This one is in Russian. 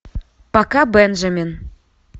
пока бенджамин